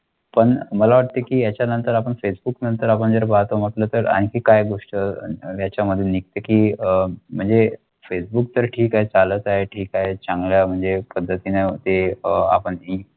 मला ते त्याच्यानंतर आपण फेसबुकनंतर आता म्हटलं तर आणखी काय गोष्ट त्याच्यामध्ये की अह म्हणजे फेसबुक तर ठीक आहे चालल आहे ठीक आहे चांगलं म्हणजे कदम शी नाते आपण.